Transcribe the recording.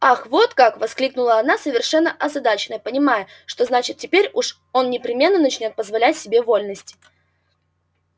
ах вот как воскликнула она совершенно озадаченная понимая что значит теперь уж он непременно начнёт позволять себе вольности